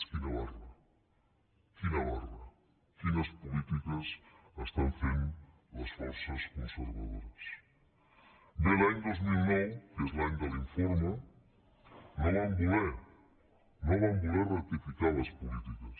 quina barra quin barra quines polítiques estan fent les forces conservadores bé l’any dos mil nou que és l’any de l’informe no van voler rectificar les polítiques